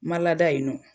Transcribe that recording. Ma lada yen nɔ